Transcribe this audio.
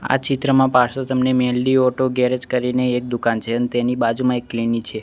આ ચિત્રમાં પાછળ તમને મેલડી ઓટો ગેરેજ કરીને એક દુકાન છે ન્ તેની બાજુમાં એક ક્લિનિક છે.